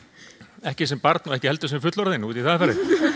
ekki sem barn og ekki sem fullorðinn út í það er farið